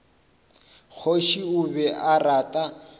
kgoši o be a rata